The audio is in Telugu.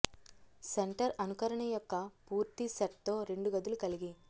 సెంటర్ అనుకరణ యొక్క పూర్తి సెట్ తో రెండు గదులు కలిగి